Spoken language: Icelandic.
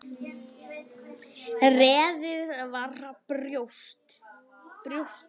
Reiðin svall í brjósti hans.